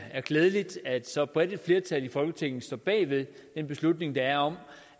klædeligt at så bredt et flertal i folketinget står bag ved den beslutning der er om